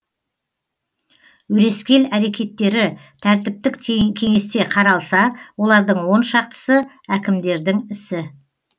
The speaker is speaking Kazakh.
өрескел әрекеттері тәртіптік кеңесте қаралса олардың он шақтысы әкімдердің ісі